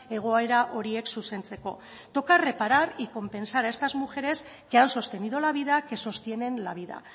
egoera horiek zuzentzeko toca reparar y compensar a estas mujeres que han sostenido la vida que sostienen la vida